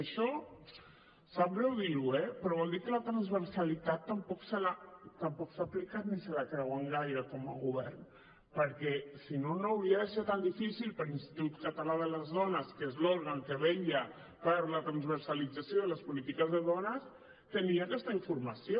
i això sap greu dir ho però vol dir que la transversalitat tampoc s’ha aplicat ni se la creuen gaire com a govern perquè si no no hauria de ser tan difícil que l’institut català de les dones que és l’òrgan que vetlla per la transversalització de les polítiques de dones tenir aquesta informació